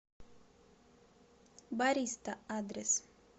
бариста адрес